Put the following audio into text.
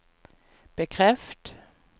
bekreft